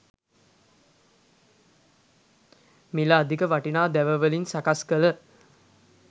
මිල අධික වටිනා දැව වලින් සකස් කළ